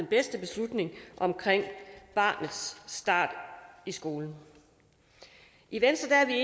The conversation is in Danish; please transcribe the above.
beslutning om barnets start i skolen i venstre er